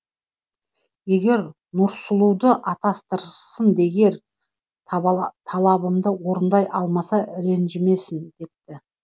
егер нұрсұлуды атастырсын егер талабымды орындай алмаса ренжімесін депті